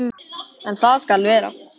En það skal þvera.